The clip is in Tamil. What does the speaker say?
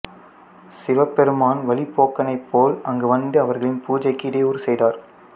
சிவபெருமான் வழிபோக்கனைப் போல அங்குவந்து அவர்களின் பூஜைக்கு இடையூறு செய்தார்